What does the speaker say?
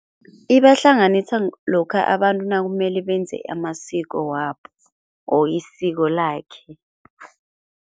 Ibahlanganisa lokha abantu nakumele benze amasiko wabo or isiko lakhe.